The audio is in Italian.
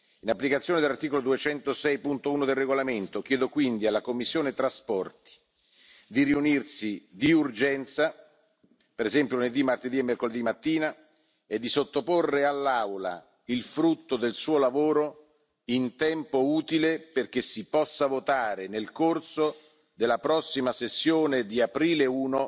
In applicazione dell'articolo 206, paragrafo 1, del regolamento, chiedo quindi alla commissione TRAN di riunirsi di urgenza, per esempio lunedì, martedì e mercoledì mattina, e di sottoporre all'Aula il frutto del suo lavoro in tempo utile perché si possa votare nel corso della prossima sessione di aprile I